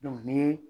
ni ye